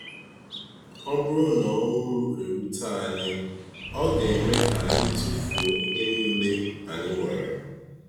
Ọ bụrụ na ọnwụ erute anyị, ọ ga-eme ka anyị tụfuo ihe niile anyị nwere.